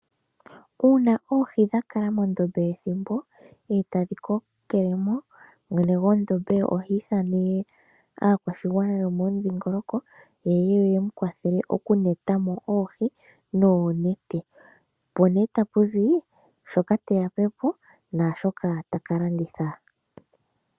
Uuna oohi dhakala mondombe ethimbo etadhi kokelemo mwene gwondombe oha ithana he aakwashigwana yomomudhingoloko yeye yemukwathele okunetamo oohi noonete po nee tapuzi shoka teyapepo naashoka taka landitha.